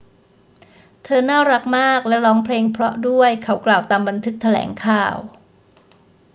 เธอน่ารักมากและร้องเพลงเพราะด้วย เขากล่าว ตามบันทึกแถลงข่าว